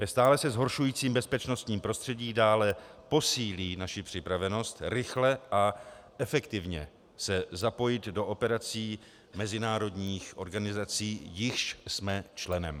Ve stále se zhoršujícím bezpečnostním prostředí dále posílí naši připravenost rychle a efektivně se zapojit do operací mezinárodních organizací, jichž jsme členem.